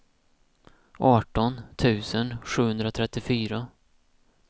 arton tusen sjuhundratrettiofyra